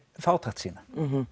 fátækt sína